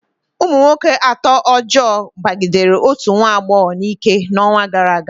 Ụmụ nwoke atọ ọjọọ kpagidere otu nwa agbọghọ n'ike n'ọnwa gara aga.